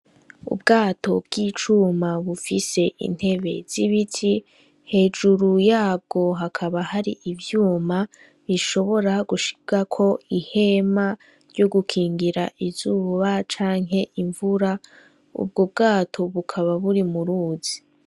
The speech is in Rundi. Ubwato bw'icuma bufise intebe zibiti hejuru yabwo hakaba hari ivyuma bishobora gushirwako ihema ryo gukingira izuba canke imvura ubwo bwato bukaba buri mu ruzi.